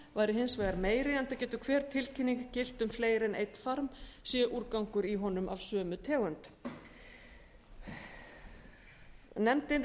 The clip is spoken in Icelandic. væri hins vegar meiri enda getur hver tilkynning gilt um fleiri en einn farm sé úrgangur í honum af sömu tegund nefndin